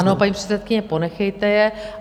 Ano, paní předsedkyně, ponechejte je.